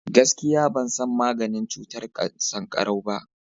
gaskiya ban san maganin cutar sankarau ba